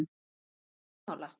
Ertu ekki sammála?